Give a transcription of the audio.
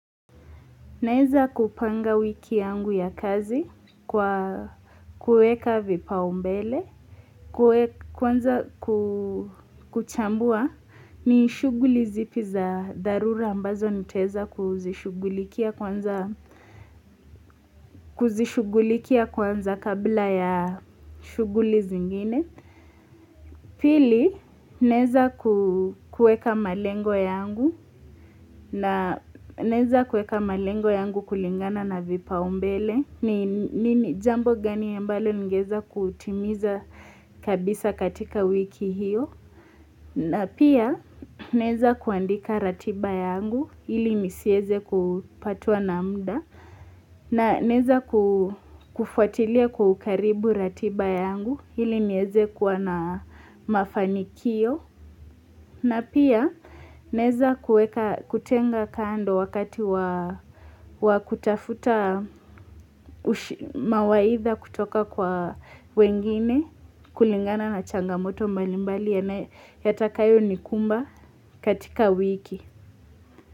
Neza kupanga wiki yangu ya kazi kwa kueka vipao mbele, kwanza kuchambua ni shughuli zipi za dharura ambazo nitaeza kuzishughulikia kuzishughulikia kwanza kabla ya shughuli zingine. Pili naeza kueka malengo yangu na naeza kueka malengo yangu kulingana na vipaombele ni jambo gani ambalo ningeweza kutimiza kabisa katika wiki hiyo. Na pia naeza kuandika ratiba yangu ili nisieze kupatwa na mda na naeza kufuatilia kwa ukaribu ratiba yangu ili nieze kuwa na mafanikio na pia naeza kutenga kando wakati wa kutafuta mawaidha kutoka kwa wengine kulingana na changamoto mbalimbali yatakayo nikumba katika wiki.